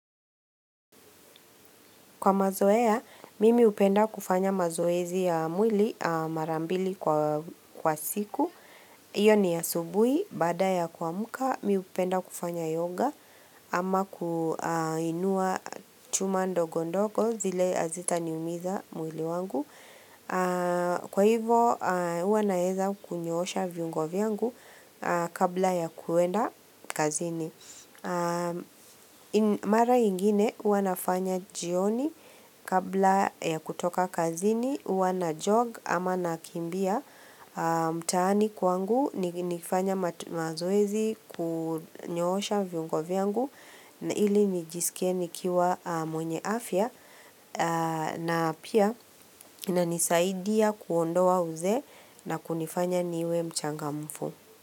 Kwa mazoea, mimi hupenda kufanya mazoezi ya mwili mara mbili kwa siku. Hio ni asubui, baada ya kuamka, mimi hupenda kufanya yoga ama kuinua chuma ndogo ndogo zile hazita ni umiza mwili wangu. Kwa hivo, uwa naeza kunyoosha viungo vyangu kabla ya kuenda kazini. Mara ingine huwa nafanya jioni kabla ya kutoka kazini huwa na jog ama nakimbia mtaani kwangu nikifanya mazoezi kunyoosha viungo vyangu ili nijisikie nikiwa mwenye afya na pia inanisaidia kuondoa uzee na kunifanya niwe mchangamfu.